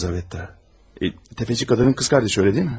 Lizabet də, sələmçi qadının bacısı, elə deyilmi?